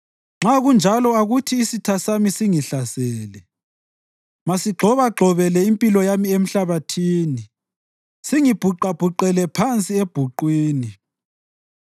nxa kunjalo akuthi isitha sami singihlasele; masigxobagxobele impilo yami emhlabathini singibhuqabhuqele phansi ebhuqwini.